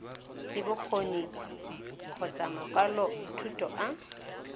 le bokgoni kgotsa makwalothuto a